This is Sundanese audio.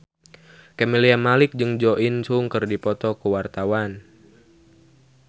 Camelia Malik jeung Jo In Sung keur dipoto ku wartawan